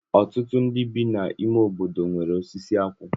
Ọtụtụ ndị bi n'ime obodo nwere osisi akwụ